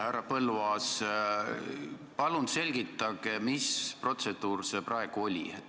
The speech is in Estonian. Härra Põlluaas, palun selgitage, mis protseduur see praegu oli.